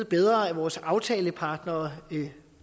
bedre af vores aftalepartnere